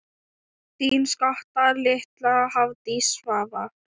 Þín skotta litla, Hafdís Svava.